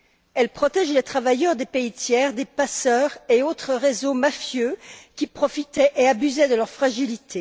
Elle protège les travailleurs des pays tiers des passeurs et autres réseaux mafieux qui profitaient et abusaient de leur fragilité.